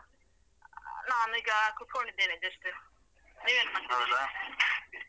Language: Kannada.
ನಾನ್ ಈಗ ಕುತ್ಕೊಂಡಿದ್ದೇನೆ just ನೀವೇನ್ ಮಾಡ್ತಾ ಇದ್ದೀರಾ?